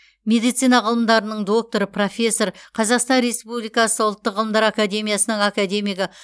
медицина ғылымдарының докторы профессор қазақстан республикасы ұлттық ғылымдар академиясының академигі